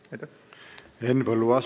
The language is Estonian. Henn Põlluaas, palun!